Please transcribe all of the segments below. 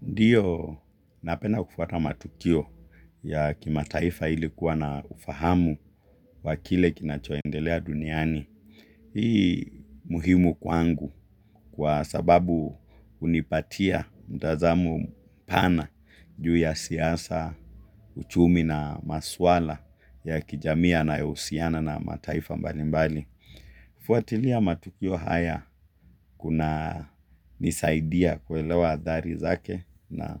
Ndiyo napedna kufuata matukio ya kimataifa ili kuwa na ufahamu wa kile kinachoendelea duniani. Hii ni muhimu kwangu kwa sababu hunipatia mtazamo pana juu ya siasa, uchumi na maswala ya kijamii yanayohusiana na mataifa mbalimbali. Kufuatilia matukio haya kunanisaidia kuelewa athari zake na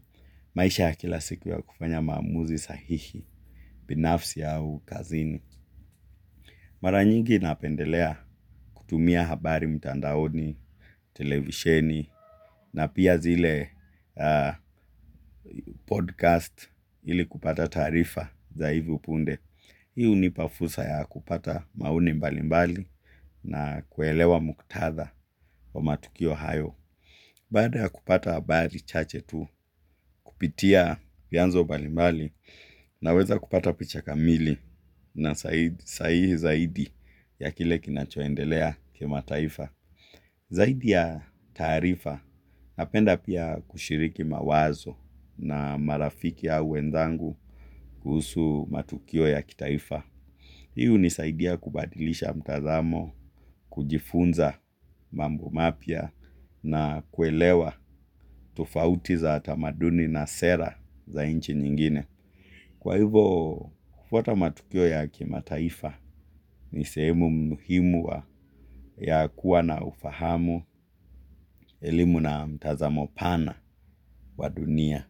maisha kila siku ya kufanya maamuzi sahihi, binafsi au kazini. Mara nyingi napendelea kutumia habari mtandaoni, televisheni na pia zile podcast ili kupata taarifa za hivi punde. Hii hnipa fursa ya kupata maoni mbalimbali na kuelewa muktatha wa matukio hayo. Baada ya kupata habari chache tu kupitia vianzo mbalimbali na weza kupata picha kamili na sahihi zaidi ya kile kinachoendelea kimataifa. Zaidi ya taarifa napenda pia kushiriki mawazo na marafiki au wenzangu kuhusu matukio ya kitaifa. Hii hunisaidia kubadilisha mtazamo kujifunza mambo mapya na kuelewa tufauti za tamaduni na sera za inchi nyingine. Kwa hivyo kufuata matukio ya kimataifa ni sehemu muhimu ya kuwa na ufahamu elimu na mtazamo pana wa dunia.